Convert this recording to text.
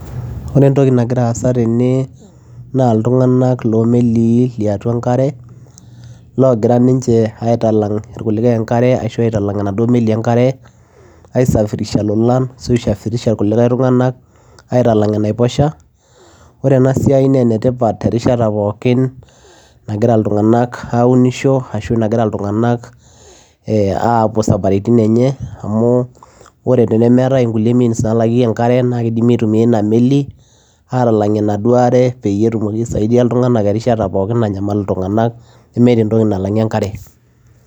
Ore etoki nagira aasa tene naa iltungana loomelii liatua enkare, ogira ninche aitalang irkulikae enkare ashu aitalang imelii enkare aisafirisha ilolan ashu eisafirisha irkulikae tungana, aitalang enaiposha. Ore ena siai naa enetipata erishat pooki nagira iltungana aunisho ashu nagira iltungana ee apuo isafarini enye, amu ore temeetae kulie means, nalangieki enkare naa kidimi aitumia ina meli atalangie enaduo aare peyie etumoki aisaidia iltungana erishata pooki nanyamal iltungana nemeeta entoki nalangie enkare.